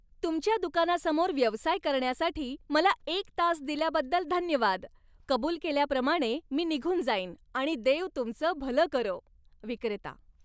तुमच्या दुकानासमोर व्यवसाय करण्यासाठी मला एक तास दिल्याबद्दल धन्यवाद. कबूल केल्याप्रमाणे मी निघून जाईन, आणि देव तुमचं भलं करो. विक्रेता